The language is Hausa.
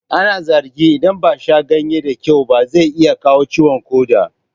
Ana zargin in ba a sha ganye ta kyau ba zai iya kawo ciwon ƙoda